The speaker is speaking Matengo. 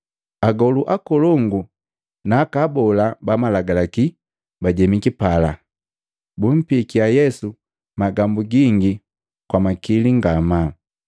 Agolu akolongu na aka abola ba Malagalaki bajemiki pala, bumpikia Yesu magambu gingi kwa makili ngamaa.